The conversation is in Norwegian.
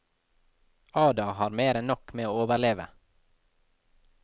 Ada har mer enn nok med å overleve.